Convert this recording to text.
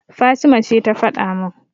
Fatima ce ta faɗa min.